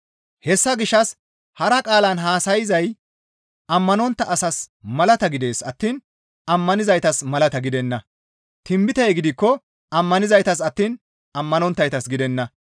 Hessa gishshas hara qaalan haasayay ammanontta asaas malata gidees attiin ammanizaytas malata gidenna; tinbitey gidikko ammanizaytas attiin ammanonttaytas gidenna.